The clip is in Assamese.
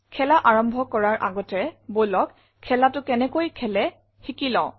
খেলা আৰম্ভ কৰাৰ আগতে বলক খেলাটো কেনেকৈ খেলে শিকি লও